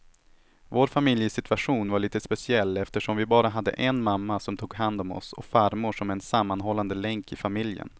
Vår familjesituation var lite speciell eftersom vi bara hade en mamma som tog hand om oss och farmor som en sammanhållande länk i familjen.